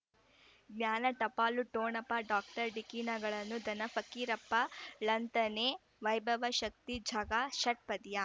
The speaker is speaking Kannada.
ಜ್ಞಾನ ಟಪಾಲು ಠೊಣಪ ಡಾಕ್ಟರ್ ಢಿಕ್ಕಿ ಣಗಳನು ಧನ ಫಕೀರಪ್ಪ ಳಂತಾನೆ ವೈಭವ್ ಶಕ್ತಿ ಝಗಾ ಷಟ್ಪದಿಯ